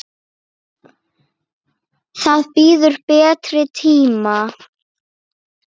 Það bíður betri tíma.